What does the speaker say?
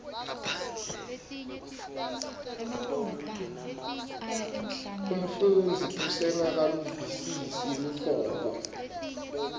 umfundzi usengakaluvisisi luhlobo